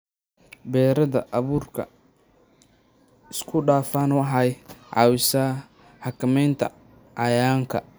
Beeridda abuurka isku-dhafan waxay caawisaa xakamaynta cayayaanka.